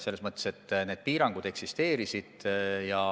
Selles mõttes, et need piirangud tõesti eksisteerisid.